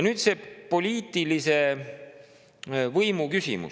Nüüd see poliitilise võimu küsimus.